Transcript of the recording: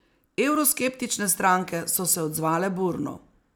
Evroskeptične stranke so se odzvale burno.